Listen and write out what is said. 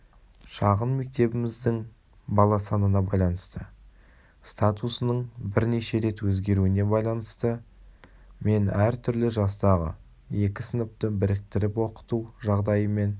шағын мектебіміздің бала санына байланысты статусының бірнеше рет өзгеруіне байланысты мен әртүрлі жастағы екі сыныпты біріктіріп оқыту жағдайымен